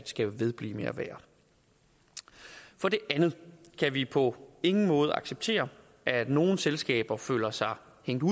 skal vedblive med at være for det andet kan vi på ingen måde acceptere at nogle selskaber føler sig